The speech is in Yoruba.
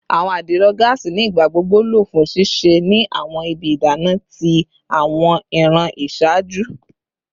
Awọn adiro gaasi ni igbagbogbo lo fun sise ni awọn ibi idana ti awọn iran iṣaaju